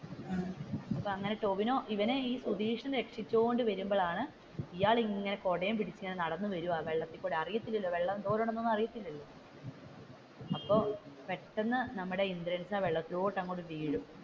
അപ്പോ അങ്ങനെ ടോവിനോ ഇങ്ങനെ സുതീഷിനെ രക്ഷിച്ചോണ്ട് വരുമ്പോഴാണ് ഇയാൾ ഇങ്ങനെ കുടയും പിടിച്ചുകൊണ്ട് ഇങ്ങനെ നടന്നു വരുവാ വെള്ളത്തിലൂടെ അറിയതില്ലല്ലോ വെള്ളം എന്തോരം ഉണ്ടെന്നു അറിയതില്ലല്ലോ അപ്പൊ പെട്ടെന്ന് നമ്മുടെ ഇന്ദ്രൻസ് വെള്ളത്തിലോട്ട് അങ്ങോട്ട് വീഴും.